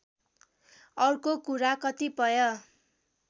अर्को कुरा कतिपय